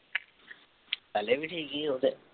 ਪਹਿਲੇ ਵੀ ਠੀਕ ਸੀ ਉਹ ਤੇ।